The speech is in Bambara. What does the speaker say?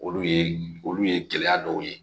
Olu ye olu ye gɛlɛya dɔw ye